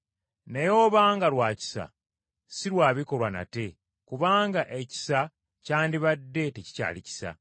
Naye obanga lwa kisa, si lwa bikolwa nate, kubanga ekisa kyandibadde tekikyali kisa.